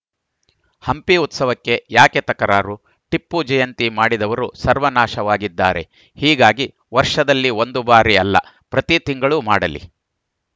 ಹಂಪಿ ಉತ್ಸವಕ್ಕೆ ಯಾಕೆ ತಕರಾರು ಟಿಪ್ಪು ಜಯಂತಿ ಮಾಡಿದವರು ಸರ್ವನಾಶವಾಗಿದ್ದಾರೆ ಹೀಗಾಗಿ ವರ್ಷದಲ್ಲಿ ಒಂದು ಬಾರಿ ಅಲ್ಲಪ್ರತಿ ತಿಂಗಳೂ ಮಾಡಲಿ